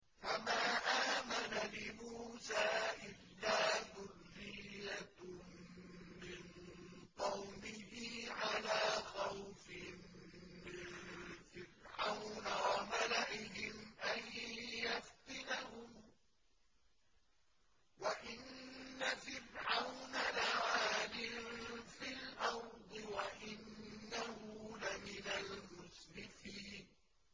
فَمَا آمَنَ لِمُوسَىٰ إِلَّا ذُرِّيَّةٌ مِّن قَوْمِهِ عَلَىٰ خَوْفٍ مِّن فِرْعَوْنَ وَمَلَئِهِمْ أَن يَفْتِنَهُمْ ۚ وَإِنَّ فِرْعَوْنَ لَعَالٍ فِي الْأَرْضِ وَإِنَّهُ لَمِنَ الْمُسْرِفِينَ